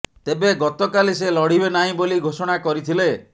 ତେବେ ଗତକାଲି ସେ ଲଢିବେ ନାହିଁ ବୋଲି ଘୋଷଣା କରିଥିଲେ